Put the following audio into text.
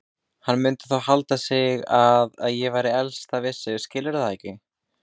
Hann mundi þá halda að ég væri að eltast við sig, skilurðu það ekki?